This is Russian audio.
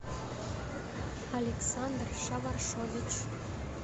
александр шаваршович